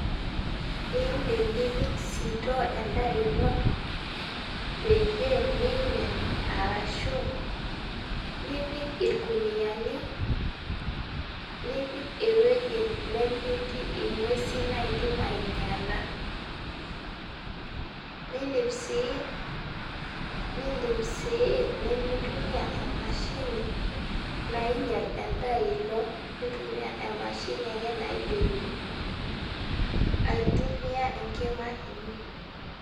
Indim nipik sitoo endaa ino peyieu mimin arashu nipik irkuniani, nipik ewueji nemetii ngwesin naidim ainyala, nindim sii nindim sii nimintumia emashini nainyel endaa ino nintumia emashini ake naidim aitumia enkima kiti.